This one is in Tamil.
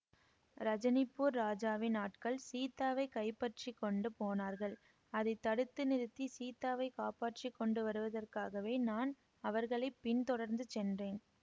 ரஜனிபூர் ராஜாவின் ஆட்கள் சீதாவைக் கைப்பற்றிக்கொண்டு போனார்கள் அதை தடுத்து நிறுத்தி சீதாவைக் காப்பாற்றி கொண்டு வருவதற்காகவே நான் அவர்களை பின் தொடர்ந்து சென்றேன்